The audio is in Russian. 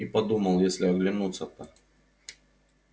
и подумал если оглянутся то